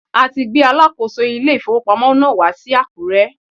A ti gbé alákòóso ilé ìfowópamọ́ náà wá sí Àkúrẹ́.